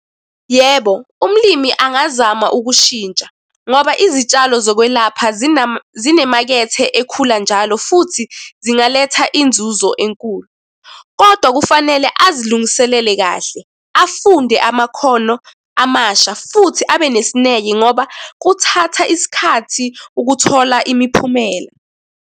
Yebo, umlimi angazama ukushintsha, ngoba izitshalo zokwelapha zinemakethe ekhula njalo futhi, zingaletha inzuzo enkulu, kodwa kufanele azilungiselele kahle, afunde amakhono amasha, futhi abe nesineke ngoba kuthatha isikhathi ukuthola imiphumela.